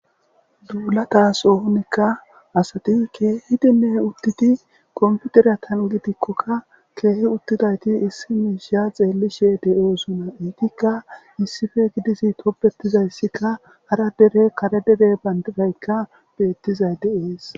duulatas ohonikka asati kehidinne uttidi komputeriyatan gidikkokka keehi uttidayti issi miishiya xeellishe de7oosuna iitikka issife gidisi topbetizayssikka hara dere kare dere bandidaykka beettizay de7ees.